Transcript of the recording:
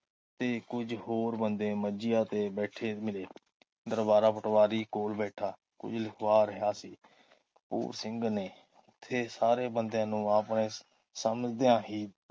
ਤੇ ਕੁਝ ਹੋਰ ਬੰਦੇ ਮੰਜੀਆਂ ਤੇ ਬੈਠੇ ਮਿਲੇ ਦਰਬਾਰਾ ਪਟਵਾਰੀ ਕੋਲ ਬੈਠਾ ਕੁਝ ਲਿਖਵਾ ਰਿਹਾ ਸੀ। ਕਪੂਰ ਸਿੰਘ ਨੇ ਓਥੇ ਸਾਰੇ ਬੰਦਿਆਂ ਨੂੰ ਆਪਣੇ ਸਮਝਦਿਆਂ ਹੀ